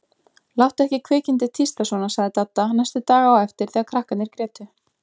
Láttu ekki kvikindið tísta svona sagði Dadda næstu daga á eftir þegar krakkarnir grétu.